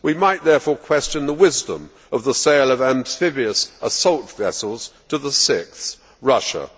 We might therefore question the wisdom of the sale of amphibious assault vessels to the sixth Russia.